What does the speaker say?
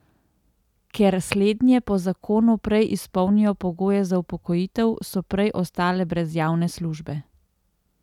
Ker slednje po zakonu prej izpolnijo pogoje za upokojitev, so prej ostale brez javne službe.